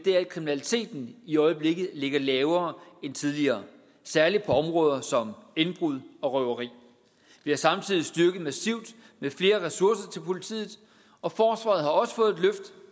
er at kriminaliteten i øjeblikket ligger lavere end tidligere særlig på områder som indbrud og røveri vi har samtidig styrket massivt med flere ressourcer til politiet og forsvaret har også fået et